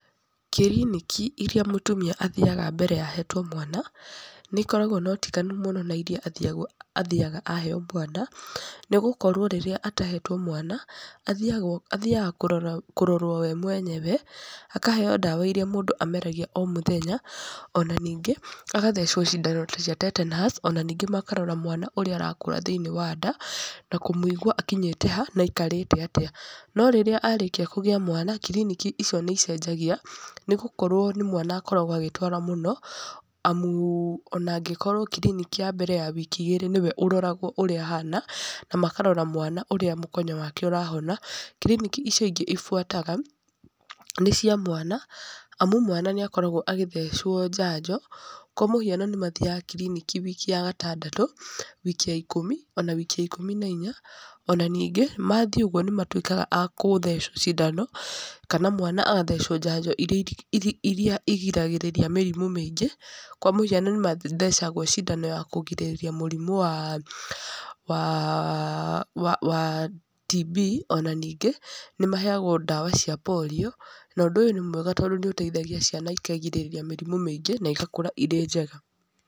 Kiriniki irĩa mũtumia athiaga mbere ya ahetwo mwana, nĩ ikoragwo na ũtiganu mũno na irĩa athiagwo athiaga aheyo mwana. Nĩ gũkorwo rĩrĩa atahetwo mwana, athiaga athiaga kũrora kũrorwo we mwenyewe, akaheyo ndawa irĩa mũndũ ameragia o mũthenya. Ona ningĩ, agathecwo cindano ta cia tetanus, ona ningĩ makarora mwana ũrĩa arakũra thĩiniĩ wa nda, na kũmũigua akinyĩte ha, na aikarĩte atĩa. No rĩrĩa arĩkia kũgĩa mwana, kiriniki icio nĩ icenjagia, nĩ gũkorwo nĩ mwana akoragwo agĩtwara mũno, amu ona angĩkorwo kiriniki ya mbere ya wiki igĩrĩ nĩwe ũroragwo ũrĩa ahana, na makarora mwana ũrĩa mũkonyo wake ũrahona. Kiriniki icio ingĩ ibuataga, nĩ cia mwana, amu mwana nĩ akoragwo agĩthecwo njanjo. Kwa mũhiano nĩ mathiaga kiriniki wiki ya gatandatũ, wiki ya ikũmi, ona ya wiki ya ikũmi na inya. Ona ningĩ, mathiĩ ũguo nĩ matuĩkaga a kũthecwo cindano, kana mwana agathecwo njanjo irĩa irĩa igiragĩrĩria mĩrimũ mĩingĩ. Kwa mũhiano nĩ mathecagwo cindano ya kũgirĩrĩria mũrimũ wa wa wa wa TB. Ona ningĩ, nĩ maheagwo ndawa cia polio. Na ũndũ ũyũ nĩ mwega tondũ nĩ ũteithagia ciana ikagirĩrĩria mĩrimũ mĩingĩ, na igakũra irĩ njega.